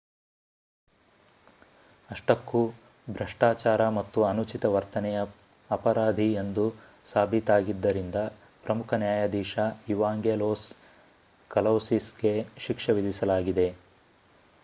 ಅಷ್ಟಕ್ಕೂ ಭ್ರಷ್ಟಾಚಾರ ಮತ್ತು ಅನುಚಿತ ವರ್ತನೆಯ ಅಪರಾಧಿ ಎಂದು ಸಾಬೀತಾಗಿದ್ದರಿಂದ ಪ್ರಮುಖ ನ್ಯಾಯಾಧೀಶ ಇವಾಂಗೆಲೋಸ್ ಕಲೌಸಿಸ್‌ಗೆ ಶಿಕ್ಷೆ ವಿಧಿಸಲಾಗಿದೆ